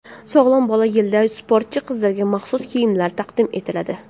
Sog‘lom bola yilida sportchi qizlarga maxsus kiyimlar taqdim etiladi.